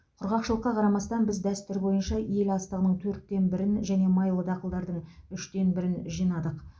құрғақшылыққа қарамастан біз дәстүр бойынша ел астығының төрттен бірін және майлы дақылдардың үштен бірін жинадық